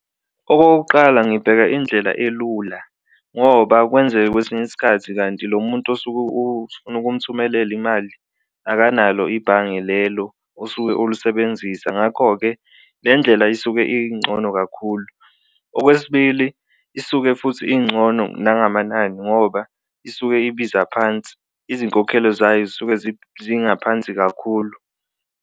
Okokuqala, ngibheka indlela elula ngoba kwenzeke kwesinye isikhathi kanti lo muntu osuke ufuna ukumthumelela imali akanalo ibhange lelo osuke ulusebenzisa ngakho-ke, le ndlela isuke incono kakhulu. Okwesibili, isuke futhi incono nangamanani ngoba isuke ibiza phansi, izinkokhelo zayo zisuke zingaphansi kakhulu.